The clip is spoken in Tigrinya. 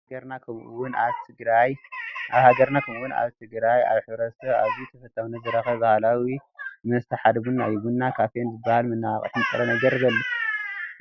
ኣብ ሃገርና ከምኡ ውን ኣብ ትግራይ ኣብ ሕ/ሰብ ኣዝዩ ተፈታውነት ዝረኸበ ባህላዊ መስተ ሓደ ቡና እዩ፡፡ ቡና ካፊን ዝባሃል መነቓቅሒ ንጥረ ነገር ስለዘለዎ ሰባት ይውለፉ፡፡